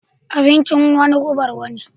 Abincin wani gubar wani